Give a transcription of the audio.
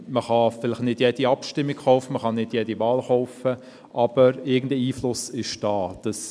Vielleicht kann man nicht jede Abstimmung, jede Wahl, kaufen, aber irgendein Einfluss ist vorhanden.